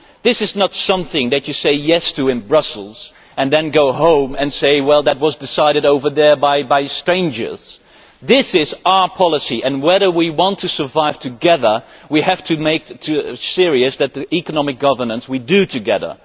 This is not something that you say yes' to in Brussels and then go home and say well that was decided over there by strangers'. This is our policy, and if we want to survive together we have to take seriously the economic governance we do together.